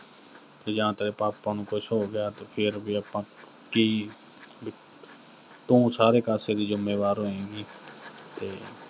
ਵੀ ਜੇ ਤੇਰੇ ਪਾਪਾ ਨੂੰ ਕੁਸ਼ ਹੋ ਗਿਆ, ਤੇ ਫਿਰ ਵੀ ਆਪਾਂ ਕੀ, ਵੀ ਅਹ ਤੂੰ ਸਾਰੇ ਕਾਸੇ ਦੀ ਜ਼ਿੰਮੇਵਾਰ ਹੋਏਂਗੀ ਤੇ